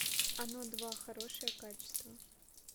оно два хорошее качество